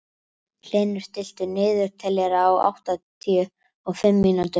Hlynur, stilltu niðurteljara á áttatíu og fimm mínútur.